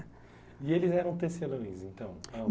E eles eram tecelãs, então?